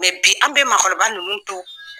bi an bɛ maakɔrɔba nunnu to